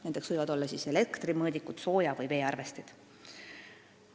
Nendeks võivad olla elektrimõõdikud, sooja- või veearvestid.